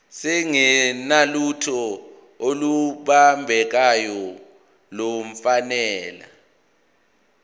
singenalutho olubambekayo nolufanele